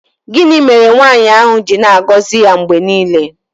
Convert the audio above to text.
Gịnị mere nwaanyị ahụ ji na-agọzi ya mgbe niile?